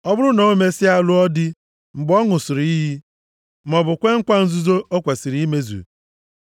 “Ọ bụrụ na o mesịa lụọ dị, mgbe ọ ṅụsịrị iyi, maọbụ kwee nkwa nzuzu o kwesiri imezu,